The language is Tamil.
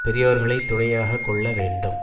பெரியோர்களை துணையாக கொள்ள வேண்டும்